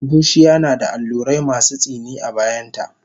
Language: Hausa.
Bushiya nada allurai masu tsini a bayanta